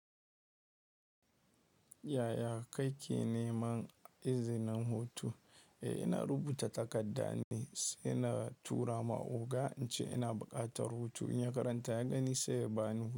Yaya ka ke neman izinin hutu? Eh, ina rubuta takaddane, saina tura ma oga, ince ina buƙatar hutu. In ya karanta ya gani sai ya bani.